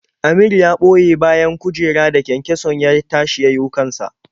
Amir ya ɓoye bayan kujera da kyankyason ya tashi ya yiwo kan sa.